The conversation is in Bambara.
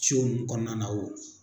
ninnu kɔɔna na o